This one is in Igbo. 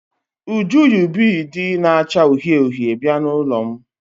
Uju yi biidi na-acha uhie uhie bịa n'ụlọ m.